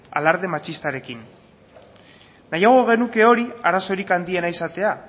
alarde matxistarekin nahiago genuke hori arazorik handiena izatea